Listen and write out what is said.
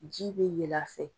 Ji bɛ yɛlɛ a fɛ.